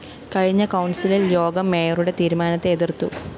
കഴിഞ്ഞ കൗണ്‍സില്‍ യോഗം മേയറുടെ തീരുമാനത്തെ എതിര്‍ത്തു